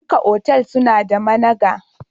Duka otal suna da managa.